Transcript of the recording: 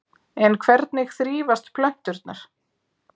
En hvernig þrífast plönturnar?